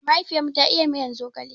Mahaifiyar mu ta iya miyan zogale.